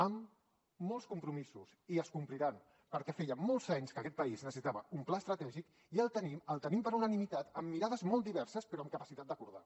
amb molts compromisos i es compliran perquè feia molts anys que aquest país necessitava un pla estratègic i el tenim el tenim per unanimitat amb mirades molt diverses però amb capacitat d’acordar